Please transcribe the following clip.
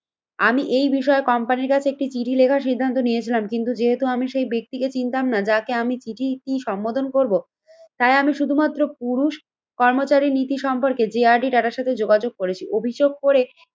আমি এই বিষয়ে কোম্পানির কাছে একটি চিঠি লেখার সিদ্ধান্ত নিয়েছিলাম। কিন্তু যেহেতু আমি সেই ব্যক্তিকে চিনতাম না যাকে আমি চিঠি টি সম্বোধন করব তাই আমি শুধুমাত্র পুরুষ কর্মচারী নীতি সম্পর্কে যে আর ডি টাটার সাথে যোগাযোগ করেছি। অভিযোগ করে